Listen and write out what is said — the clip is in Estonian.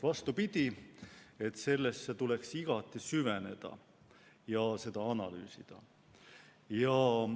Vastupidi, sellesse tuleks igati süveneda ja seda tuleks analüüsida.